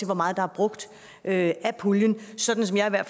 hvor meget der er brugt af puljen sådan som jeg